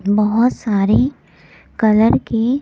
बहुत सारे कलर की--